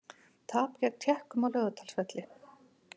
Tap gegn Tékkum á Laugardalsvelli